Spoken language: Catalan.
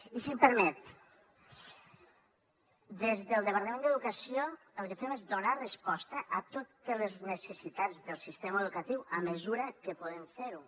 i si em permet des del departament d’educació el que fem és donar resposta a totes les necessitats del sistema educatiu a mesura que podem fer ho